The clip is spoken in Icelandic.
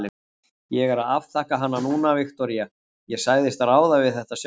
Ég er að afþakka hana núna, Viktoría, ég sagðist ráða við þetta sjálf.